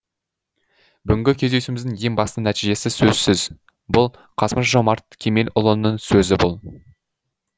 бүгінгі кездесуіміздің ең басты нәтижесі сөзсіз бұл қасым жомарт кемелұлының сөзі бұл